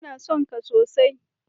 Ina son ka sosai.